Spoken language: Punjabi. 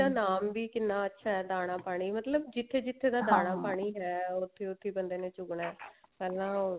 ਨਾਮ ਵੀ ਕਿੰਨਾ ਅੱਛਾ ਹੈ ਦਾਣਾ ਪਾਣੀ ਮਤਲਬ ਜਿੱਥੇ ਜਿੱਥੇ ਦਾ ਹੈ ਉੱਥੀ ਉੱਥੀ ਬੰਦੇ ਨੇ ਚੁਗਣਾ ਪਹਿਲਾਂ